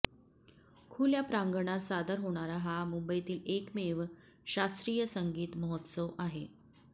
खुल्या प्रांगणात सादर होणारा हा मुंबईतील एकमेव शास्त्रीय संगीत महोत्सव आहे